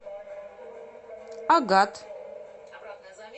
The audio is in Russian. агат